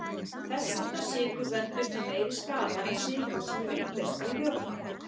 Þess háttar sykur veldur því meiri skaða en sykur sem er uppleystur í vökva.